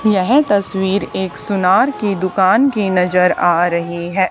यह तस्वीर एक सुनार की दुकान की नजर आ रही है।